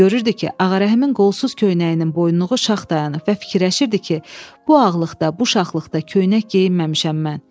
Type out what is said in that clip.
Görürdü ki, Ağarəhimin qolsuz köynəyinin boyunluğu şax dayanıb və fikirləşirdi ki, bu ağırlıqda, bu şaxlıqda köynək geyinməmişəm mən.